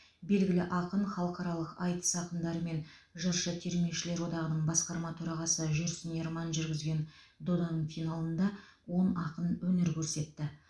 белгілі ақын халықаралық айтыс ақындары мен жыршы термешілер одағының басқарма төрағасы жүрсін ерман жүргізген доданың финалында он ақын өнер көрсетті